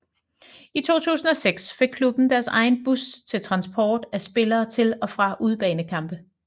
I 2006 fik klubben deres egen bus til transport af spillere til og fra udebanekampe